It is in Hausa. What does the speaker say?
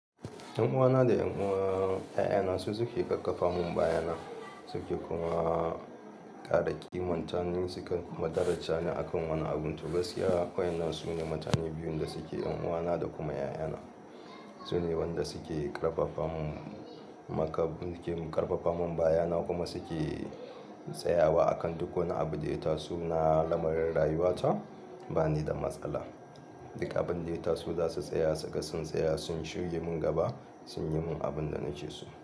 Yan uwana da 'yan uwan 'ya'yana su suke ƙarfafa mun bayana suke kuma ƙara ƙima mutanen sukan madaracha ni akan wani abun. To gaskiya wayannan su ne mutane biyun da suke 'yan uwana da kuma 'ya'yana. Su ne wanda suke ƙarfafa mun maka, suke ƙarfafa mun bayana kuma suke tsayawa akan duk wani abu da ya taso na lamarin rayuwata ba ni da matsala. Duka abin da ita su za su tsaya, suga sun tsaya sun shige mun gaba sun yi mun abin da nace su.